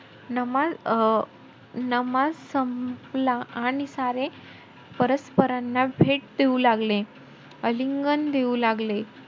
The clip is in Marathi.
नमाज अं नमाज संपला आणि सारे परस्परांना भेट देऊ लागले, आलिंगन देऊ लागले.